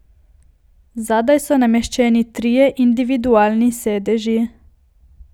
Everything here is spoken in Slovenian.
Zadaj so nameščeni trije individualni sedeži.